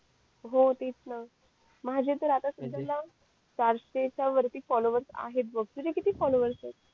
हो तेच ना माझे तर आता चारशे च्या वरती फॉलोवर्स आहेत बघ तुझे किती फॉलोवर्स ये त